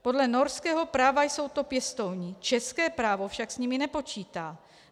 Podle norského práva jsou to pěstouni, české právo však s nimi nepočítá.